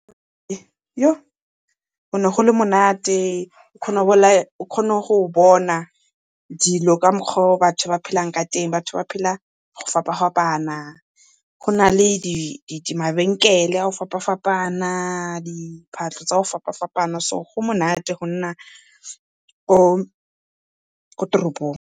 Go ne go le monate o kgona go bona dilo ka mokgwa o batho ba phelang ka teng, batho ba phela go fapa-fapana. Gona le mabenkele a go fapa-fapana, diphahlo tsa go fapa-fapana so go monate go nna ko toropong.